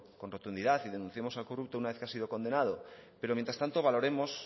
con rotundidad y denunciemos al corrupto una vez que haya sido condenado pero mientras tanto valoremos